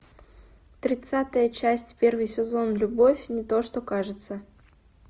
тридцатая часть первый сезон любовь не то что кажется